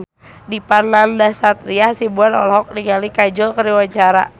Dipa Nandastyra Hasibuan olohok ningali Kajol keur diwawancara